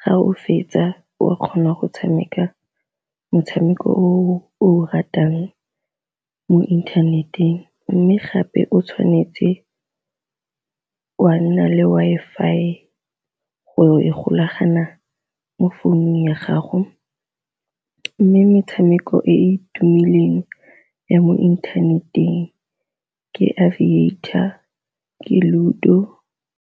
ga o fetsa o kgona go tshameka motshameko o o ratang mo inthaneteng, mme gape o tshwanetse wa nna le Wi-Fi go e golagana mo phone-u ya gago mme metshameko e e tumileng ya mo inthaneteng ke Aviator, Ludo.